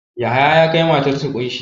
Yahaya ya kai matarsa ƙunshi.